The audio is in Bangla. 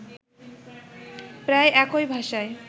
প্রায় একই ভাষায়